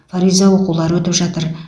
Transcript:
фариза оқулары өтіп жатыр